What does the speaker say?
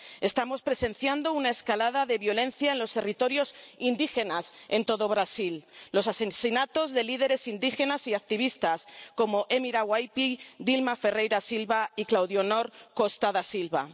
Estamos presenciando una escalada de violencia en los territorios indígenas en todo Brasil, los asesinatos de líderes indígenas y activistas, como Emira Waiâpi, Dilma Ferreira Silva y Claudionor Costa da Silva.